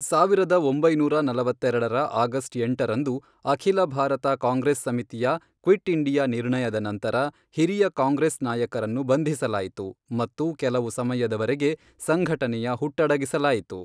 ಸಾವಿರದ ಒಂಬೈನೂರ ನಲವತ್ತೆರಡರ ಆಗಸ್ಟ್ ಎಂಟರಂದು ಅಖಿಲ ಭಾರತ ಕಾಂಗ್ರೆಸ್ ಸಮಿತಿಯ ಕ್ವಿಟ್ ಇಂಡಿಯಾ ನಿರ್ಣಯದ ನಂತರ, ಹಿರಿಯ ಕಾಂಗ್ರೆಸ್ ನಾಯಕರನ್ನು ಬಂಧಿಸಲಾಯಿತು ಮತ್ತು ಕೆಲವು ಸಮಯದವರೆಗೆ ಸಂಘಟನೆಯ ಹುಟ್ಟಡಗಿಸಲಾಯಿತು.